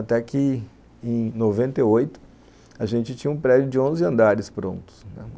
Até que em noventa e oito a gente tinha um prédio de onze andares prontos, né